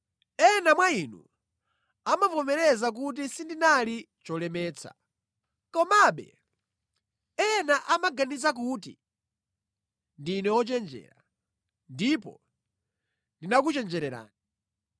Ena mwa inu amavomereza kuti sindinali cholemetsa. Komabe ena amaganiza kuti ndine wochenjera, ndipo ndinakuchenjererani.